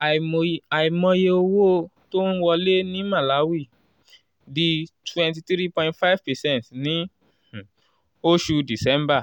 àìm àìmọye owó tó ń wọlé ní màláwì di twenty three point five percent ní um oṣù december